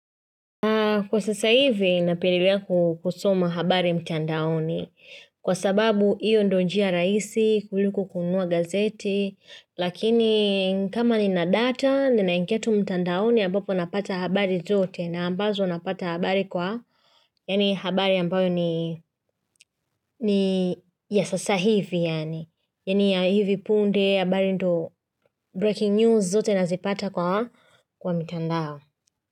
Kwa sasa hivi napelelea kusoma habari mtandaoni. Kwa sababu hiyo ndo njia rahisi kuliko kununua gazeti. Lakini kama nina data ninaingia tu mtandaoni ambapo napata habari zote na ambazo napata habari kwa. Yani habari ambayo ni niya sasa hivi yani. Yani ya hivi punde habari ndo breaking news zote nazipata kwa mitandao.